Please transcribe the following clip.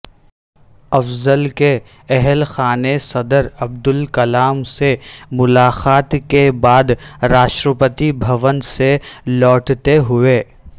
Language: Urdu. افضل کے اہل خانہ صدر عبدالکلام سے ملاقات کے بعد راشٹرپتی بھون سے لوٹتے ہوئے